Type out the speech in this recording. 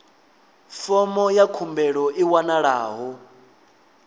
fomo ya khumbelo i wanalaho